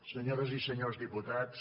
senyores i senyors diputats